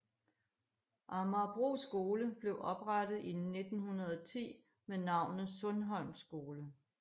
Amagerbro skole blev oprettet i 1910 med navnet Sundholm Skole